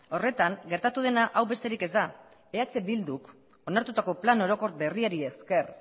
horretan gertatu dena hau besterik ez da eh bilduk onartutako plan orokor berriari esker